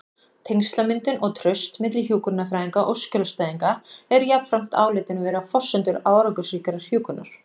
Tengslamyndun og traust milli hjúkrunarfræðinga og skjólstæðinga eru jafnframt álitin vera forsendur árangursríkrar hjúkrunar.